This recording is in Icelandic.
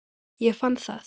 Og ég fann það.